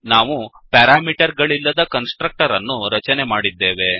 ನಾವು ಪ್ಯಾರಾಮೀಟರ್ ಗಳಿಲ್ಲದ constructor ಅನ್ನು ರಚನೆ ಮಾಡಿದ್ದೇವೆ